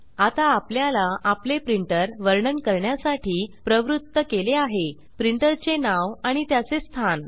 आता आपल्याला आपले प्रिंटर वर्णन करण्यासाठी प्रवृत्त केले आहे प्रिंटर चे नाव आणि त्याचे स्थान